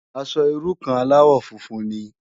Aṣò irú kàn álàwò fúnfún ni